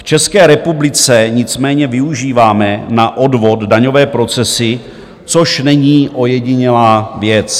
V České republice nicméně využíváme na odvod daňové procesy, což není ojedinělá věc.